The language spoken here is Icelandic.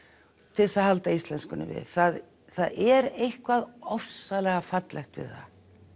til þess að halda íslenskunni við það það er eitthvað ofsalega fallegt við það